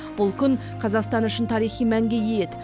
бұл күн қазақстан үшін тарихи мәнге ие еді